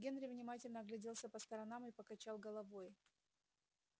генри внимательно огляделся по сторонам и покачал головой